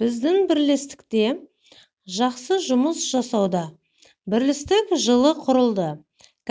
біздің бірлестікте жақсыжұмыс жасауда бірлестік жылы құрылды